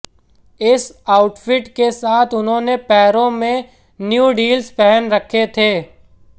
इस ऑउटफिट के साथ उन्होंने पैरो में न्यूड हील्स पहन रखे थे